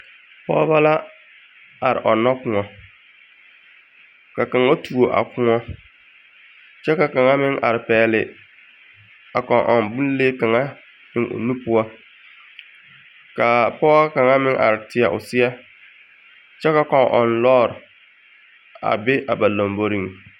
Pɔɔbɔ la, are ɔnnɔ kõɔ. Ka kaŋa tuo a kõɔ, kyɛ ka kaŋa meŋ are pɛɛle a kɔŋ-ɔŋ bonlee kaŋa eŋ o nu poɔ. Kaa pɔge kaŋa meŋ are teɛ o seɛ, kyɛ ka kɔŋ-ɔŋ lɔɔr, a be a ba lamboriuŋ.